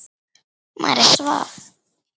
María svaf.